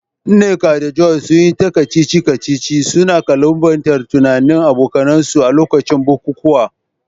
Nneka da Joy, sun yi ta kacici-kacici, suna ƙalubalantar tunanin abokansu a lokacin bukukuwa.